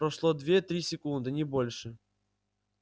прошло две-три секунды не больше